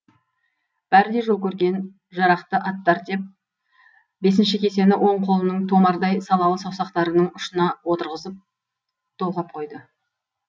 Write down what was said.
бәрі де жол көрген жарақты аттар деп бесінші кесені оң қолының томардай салалы саусақтарының ұшына отырғызып толғап қойды